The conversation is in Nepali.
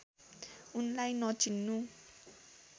उनलाई नचिन्नु